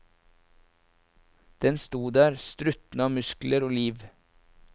Den sto der, struttende av muskler og liv.